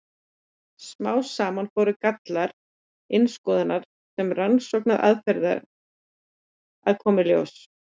Smám saman fóru gallar innskoðunar sem rannsóknaraðferðar að koma í ljós.